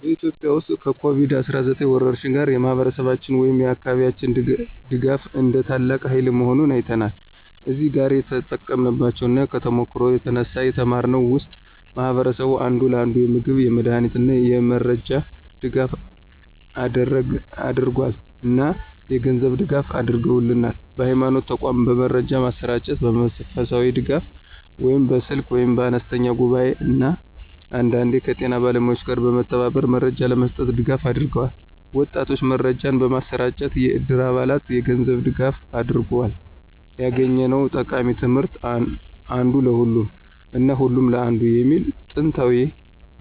በኢትዮጵያ ውስጥ ከኮቪድ-19 ወረርሽኝ ጋር፣ የማህበረሰባችን ወይም የአካባቢያችን ድጋፍ እንደ ታላቅ ሃይል መሆኑን አይተናል። እዚህ ጋር የተጠቀምንባቸው እና ከተሞክሮው የተነሳ የተማርነው ውስጥ ማህበረሰቡ አንዱ ለአንዱ የምግብ፣ የመድሃኒት እና የመረጃ ድጋፍ አደረገል እና የገንዝብ ድጋፍ አድርገውልናል። በሀይማኖት ተቋማት በመረጃ ማሰራጨት፣ በመንፈሳዊ ድጋፍ (በስልክ ወይም በአነስተኛ ጉባኤ) እና አንዳንዴ ከጤና ባለሙያዎች ጋር በመተባበር መረጃ ለመስጠት ድጋፍ አድርገዋል። ወጣቶች መረጃን በማሰራጨት፣ የዕድር አባላት የገንዝብ ድጋፋ አድርጎል። ያገኘነው ጠቃሚ ትምህርት (አንዱ ለሁሉም እና ሁሉም ለአንዱ) የሚሉ ጥንታዊ